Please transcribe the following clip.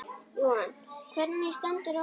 Jóhann: Hvernig stendur á því?